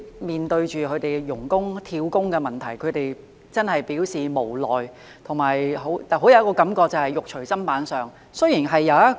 面對外傭"跳工"的問題，他們真的很無奈，而且，有一種"肉隨砧板上"的感覺。